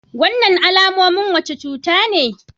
Wannan alamomin wace cuta ne?